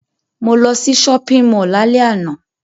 Mo lo sí shopping mall lálẹ́ àná